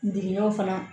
Digɛnw fana